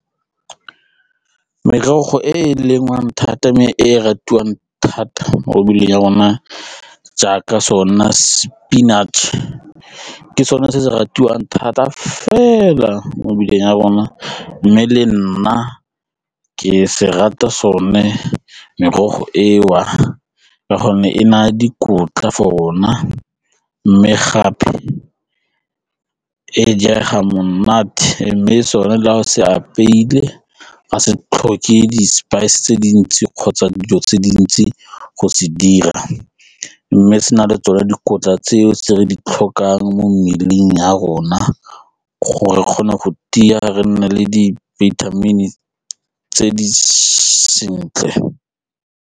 Merogo e e lengwang thata mme e ratiwang thata mo mebeleng ya rona jaaka sona spinach ke sone se di ratiwang thata fela mo mebileng ya rona mme le nna ke se rata sone merogo eo ka gonne e naya dikotla for rona mme gape e jega monate mme sone la go se apeile ga se tlhoke di-spice tse dintsi kgotsa dijo tse dintsi go se dira mme se na le tsone dikotla tseo tse re di tlhokang mo mmeleng ya rona gore re kgone go tia re nne le di-vitamin tse di sentle.